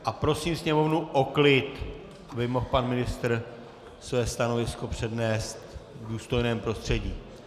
A prosím Sněmovnu o klid, aby mohl pan ministr své stanovisko přednést v důstojném prostředí.